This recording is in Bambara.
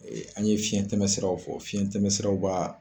An ye fiɲɛtɛmɛsiraw fɔ fiɲɛtɛmɛsiraw b'a